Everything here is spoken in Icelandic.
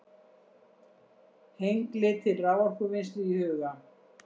Hengli til raforkuvinnslu í huga.